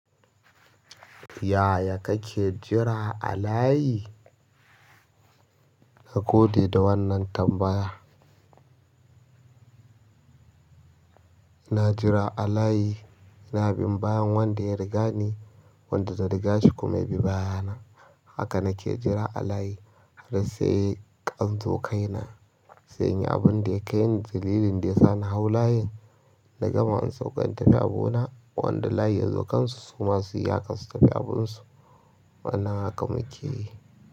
Yaya kake jira a layi? Na gode da wannan tambaya. Na jira a layi, ina bin bayan wanda ya riga ni, wanda zan riga shi kuma ya bi baya na. Haka na ke jira a layi har sai anzo kai na, sai in yi abin da ya kai ni, dalilin da ya sa na hau layin na gama in sauka in tafi abu na. Wanda layi ya zo kan su suma su yi haka su tafi abin su wannan haka muke yi.